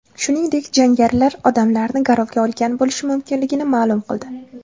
Shuningdek, jangarilar odamlarni garovga olgan bo‘lishi mumkinligini ma’lum qildi.